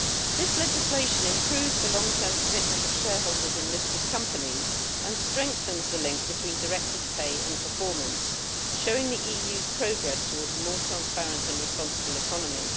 This legislation improves the long term commitment of shareholders in listed companies and strengthens the link between directors' pay and performance, showing the EU's progress towards a more transparent and responsible economy.